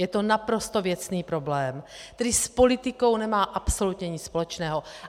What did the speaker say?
Je to naprosto věcný problém, který s politikou nemá absolutně nic společného.